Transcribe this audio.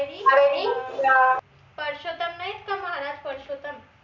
परषोतम नाई येत का महाराज परषोतम